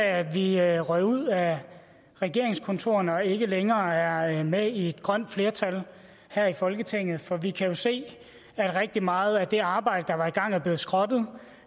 af at vi røg ud af regeringskontorerne og ikke længere er med i et grønt flertal her i folketinget for vi kan jo se at rigtig meget af det arbejde der var sat i gang er blevet skrottet